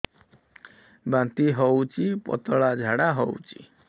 ବାନ୍ତି ହଉଚି ପତଳା ଝାଡା ହଉଚି